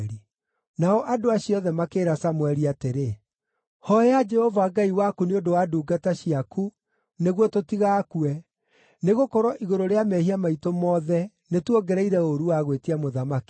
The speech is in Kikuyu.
Nao andũ acio othe makĩĩra Samũeli atĩrĩ, “Hooya Jehova Ngai waku nĩ ũndũ wa ndungata ciaku nĩguo tũtigakue, nĩgũkorwo igũrũ rĩa mehia maitũ mothe nĩtuongereire ũũru wa gwĩtia mũthamaki.”